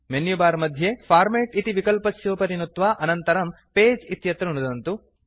menu bar मध्ये format इति विकल्पस्योपरि नुत्वा अनन्तरं पगे इत्यत्र नुदन्तु